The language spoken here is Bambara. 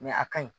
a ka ɲi